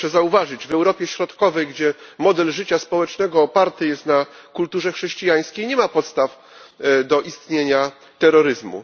Proszę zauważyć, że w Europie Środkowej, gdzie model życia społecznego oparty jest na kulturze chrześcijańskiej, nie ma podstaw do istnienia terroryzmu.